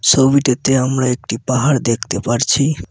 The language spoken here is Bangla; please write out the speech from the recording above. ছবিটাতে আমরা একটি পাহাড় দেখতে পারছি।